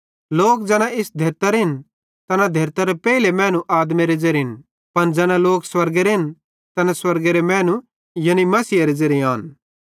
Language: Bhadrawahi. लोक ज़ैना इस धेरतरेन तैना धेरतरे पेइले मैनू आदमेरे ज़ेरेन पन ज़ैना लोक स्वर्गेरेन तैना स्वर्गेरे मैनू यानी मसीहेरे ज़ेरे आन